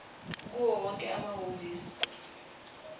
kuwo wonke amahhovisi